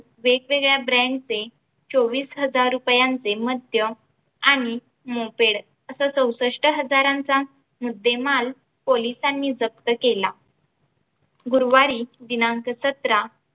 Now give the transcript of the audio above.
वेगवेगळ्या brand चे चोवीस हजार रुपयांचे मद्य आणि moped असा चौसष्ट हजारांचा मुद्देमाल police सानी जप्त केला गुरुवारी दिनांक सतरा